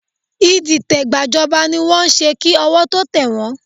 Ìdìtẹ̀gbàjọba ni wọ́n ń ṣe kí ọwọ́ tó tẹ̀ wọ́n